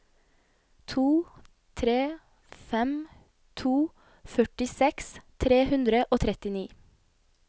to tre fem to førtiseks tre hundre og trettini